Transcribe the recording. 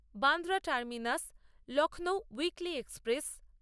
Bandra terminus Lucknow weekly express